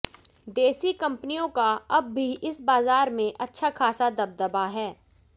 देशी कंपनियों का अब भी इस बाजार में अच्छा खासा दबदबा है